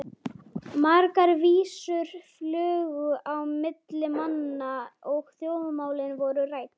Margar vísur flugu á milli manna og þjóðmálin voru rædd.